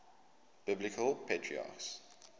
biblical patriarchs